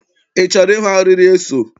Ị chọrọ ịhụ arịrị eso?